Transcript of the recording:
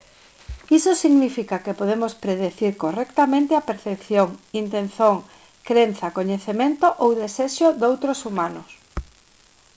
iso significa que podemos predicir correctamente a percepción intención crenza coñecemento ou desexo doutros humanos